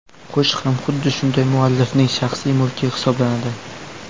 Qo‘shiq ham xuddi shunday muallifning shaxsiy mulki hisoblanadi.